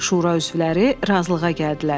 Şura üzvləri razılığa gəldilər.